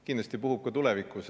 Kindlasti puhub ka tulevikus.